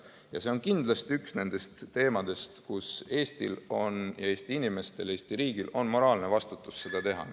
Ja see on kindlasti üks nendest ülesannetest, mille puhul Eesti inimestel ja Eesti riigil on moraalne vastutus see ära teha.